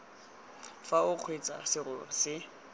fa o kgweetsa serori se